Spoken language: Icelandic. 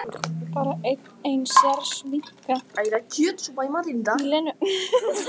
Bara enn ein sérviskan í Lenu.